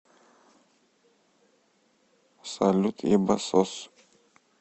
салют ебасос